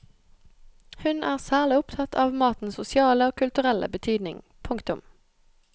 Hun er særlig opptatt av matens sosiale og kulturelle betydning. punktum